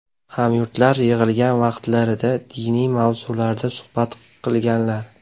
Hamyurtlar yig‘ilgan vaqtlarida diniy mavzularda suhbat qilganlar.